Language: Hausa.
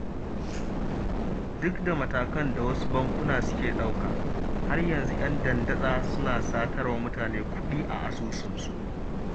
Duk da matakan da wasu bankuna suke ɗauka, har yanzu 'yan dandatsa suna satar wa mutane kuɗi a asusunsu